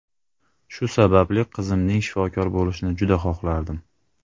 Shu sababli, qizimning shifokor bo‘lishini juda xohlardim.